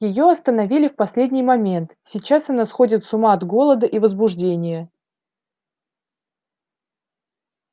её остановили в последний момент сейчас она сходит с ума от голода и возбуждения